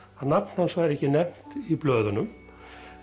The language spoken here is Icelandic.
að nafn hans væri ekki nefnt í blöðunum